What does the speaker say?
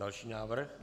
Další návrh.